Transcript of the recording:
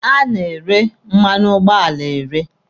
A na-ere mmanụ ụgbọala ere.